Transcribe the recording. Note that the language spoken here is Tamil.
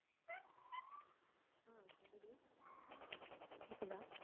கேக்குதா